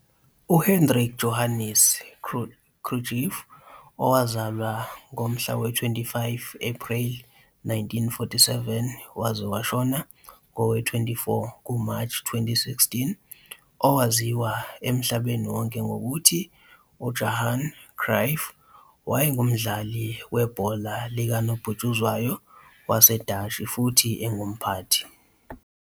UHendrik Johannes Cruijff, 25 April 1947 - 24 March 2016, owaziwa emhlabeni wonke ngokuthi UJohan Cruyff, wayengumdlali ibhola likanobhutshuzwayo waseDashi futhi engumphathi.